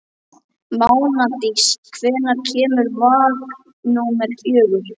Mánadís, hvenær kemur vagn númer fjögur?